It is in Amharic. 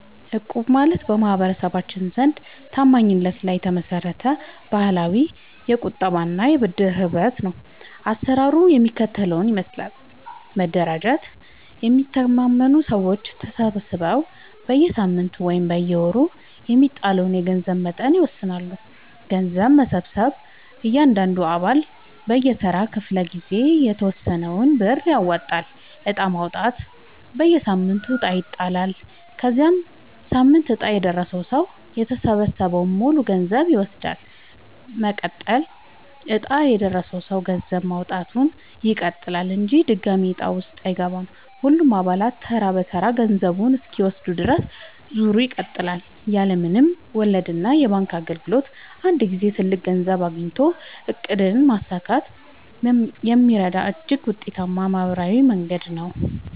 እቁብ ማለት በማህበረሰባችን ዘንድ ታማኝነት ላይ የተመሰረተ ባህላዊ የቁጠባና የብድር ህብረት ነው። አሰራሩ የሚከተለውን ይመስላል፦ መደራጀት፦ የሚተማመኑ ሰዎች ተሰባስበው በየሳምንቱ ወይም በየወሩ የሚጣለውን የገንዘብ መጠን ይወስናሉ። ገንዘብ መሰብሰብ፦ እያንዳንዱ አባል በየተራው ክፍለ-ጊዜ የተወሰነውን ብር ያዋጣል። ዕጣ ማውጣት፦ በየሳምንቱ ዕጣ ይጣላል። የዚያ ሳምንት ዕጣ የደረሰው ሰው የተሰበሰበውን ሙሉ ገንዘብ ይወስዳል። መቀጠል፦ ዕጣ የደረሰው ሰው ገንዘብ ማዋጣቱን ይቀጥላል እንጂ ድጋሚ ዕጣ ውስጥ አይገባም። ሁሉም አባላት ተራ በተራ ገንዘቡን እስኪወስዱ ድረስ ዙሩ ይቀጥላል። ያለ ምንም ወለድና የባንክ እንግልት በአንድ ጊዜ ትልቅ ገንዘብ አግኝቶ ዕቅድን ለማሳካት የሚረዳ እጅግ ውጤታማ ማህበራዊ መንገድ ነው።